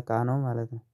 እቃ ነው። ማለት ነው